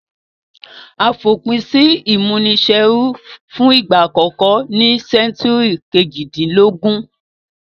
A fòpin si ìmúniserú fun ìgbà àkókó ní century kejìdínlógún